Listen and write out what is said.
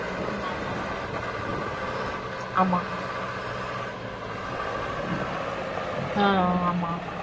ஆமா ஆமா sir ஆமா ஆஹ் ஆமா